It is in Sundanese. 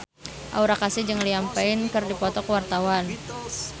Aura Kasih jeung Liam Payne keur dipoto ku wartawan